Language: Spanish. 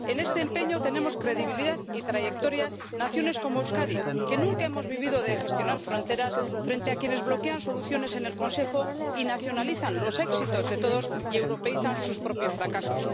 En este empeño tenemos credibilidad y trayectoria naciones como Euskadi, que nunca hemos vivido de gestionar fronteras, frente a quienes bloquean soluciones en el Consejo y nacionalizan los éxitos de todos y europeízan sus propios fracasos.